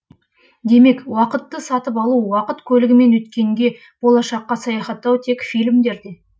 демек уақытты сатып алу уақыт көлігімен өткенге болашаққа саяхаттау тек фильмдерде